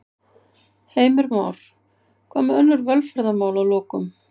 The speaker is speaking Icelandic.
Heimir Már: Hvað með önnur velferðarmál að lokum?